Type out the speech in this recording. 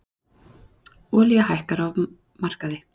Olía hækkar á markaði